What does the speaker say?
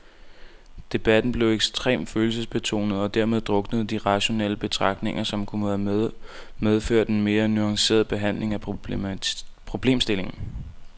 Debatten blev ekstremt følelsesbetonet, og dermed druknede de rationelle betragtninger, som kunne have medført en mere nuanceret behandling af problemstillingen.